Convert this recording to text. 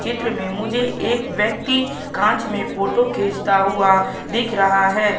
चित्र में मुझे एक व्यक्ति कांच में फोटो खींचता हुआ दिख रहा है।